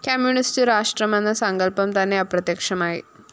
communist രാഷ്ട്രമെന്ന സങ്കല്‍പം തന്നെ അപ്രത്യക്ഷമായി